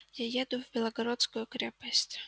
я еду в белогорскую крепость